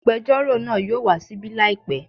Agbẹjọ́rò náà yóò wá ṣíbí làìpẹ́